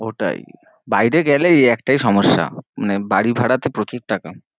ওটাই, বায়েরে গেলে এই একটাই সমস্যা মানে বাড়ি ভাড়া তে প্রচুর টাকা